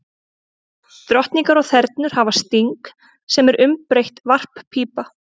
Drottningar og þernur hafa sting, sem er umbreytt varppípa.